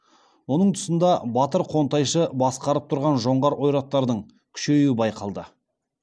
оның тұсында батыр қонтайшы басқарып тұрған жоңғар ойраттардың күшеюі байқалды